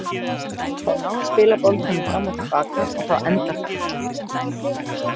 Þær náðu að spila boltanum fram og til baka og þá endar það illa.